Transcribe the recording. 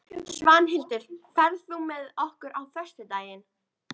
Svanhildur, ferð þú með okkur á föstudaginn?